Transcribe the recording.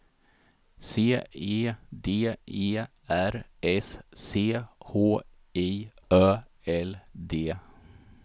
C E D E R S C H I Ö L D